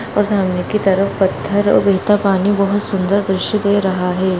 और सामने की तरफ पत्थर और गिरता पानी बहोत सुंदर दृश्य दे रहा है।